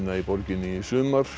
í borginni í sumar